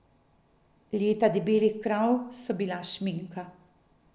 Leta debelih krav so bila šminka.